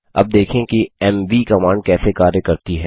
अब देखें कि एमवी कमांड कैसे कार्य करती है